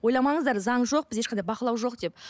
ойламаңыздар заң жоқ бізде ешқандай бақылау жоқ деп